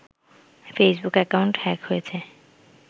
Facebook account hack হয়েছে